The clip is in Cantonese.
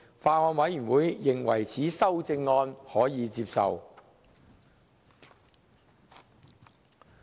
法案委員會認為此修正案可接受。